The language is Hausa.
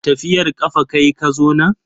Tafiyar kafa kayi ka zo nan?